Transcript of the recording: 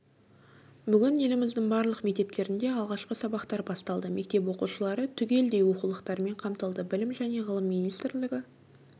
бүгін еліміздің барлық мектептерінде алғашқы сабақтар басталды мектеп оқушылары түгелдей оқулықтармен қамтылды білім және ғылым министрлігі